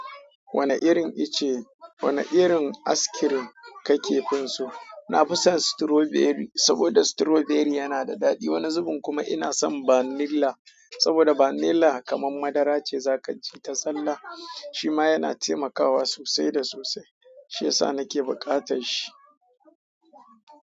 Wane irin ice, wane irin askirim ka kefin so? Na fi son strawberry saboda strawberry yana da daɗi. Wani zubin kuma ina son vanilla saboda vanilla kamar madara ce za ka ci ta zallah. Shi ma yana taimakawa sosai da sosai. Shiyasa nake bukatar shi.